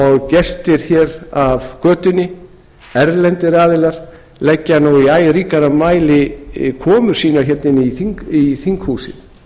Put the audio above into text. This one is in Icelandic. og gestir af götunni erlendir aðilar leggja í æ ríkara mæli komu sína hérna inn í þinghúsið